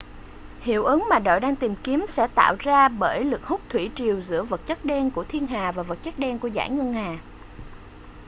hiệu ứng mà đội đang tìm kiếm sẽ tạo ra bởi lực hút thủy triều giữa vật chất đen của thiên hà và vật chất đen của dải ngân hà